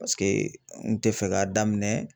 Paseke n tɛ fɛ k'a daminɛ